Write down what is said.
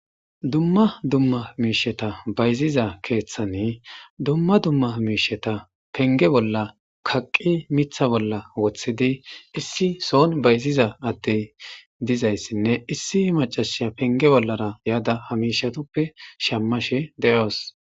dumma dumma miisheta bayziza keeththani dumma dumma miisheta penge bolla kaqqi mitha bolla woththidi issi soon bayziza aday dizayssinne issi macasha penge bollara yaada hamishatuppe shammashe de'oos